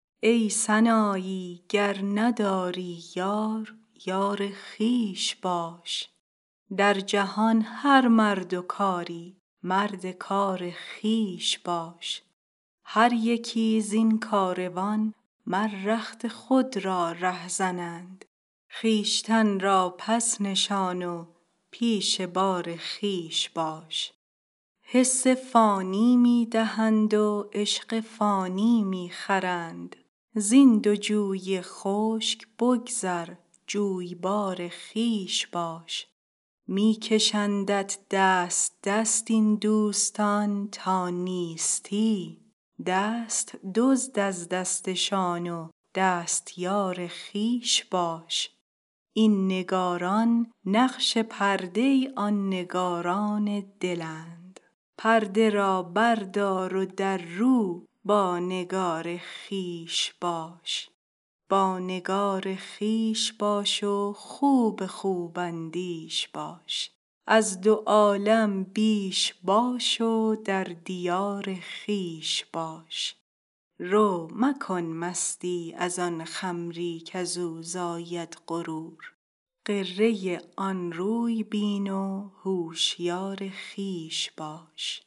ای سنایی گر نیابی یار یار خویش باش در جهان هر مرد و کاری مرد کار خویش باش هر یکی زین کاروان مر رخت خود را رهزنند خویشتن را پس نشان و پیش بار خویش باش حسن فانی می دهند و عشق فانی می خرند زین دو جوی خشک بگذر جویبار خویش باش می کشندت دست دست این دوستان تا نیستی دست دزد از دستشان و دستیار خویش باش این نگاران نقش پرده آن نگاران دلند پرده را بردار و دررو با نگار خویش باش با نگار خویش باش و خوب خوب اندیش باش از دو عالم بیش باش و در دیار خویش باش رو مکن مستی از آن خمری کز او زاید غرور غره آن روی بین و هوشیار خویش باش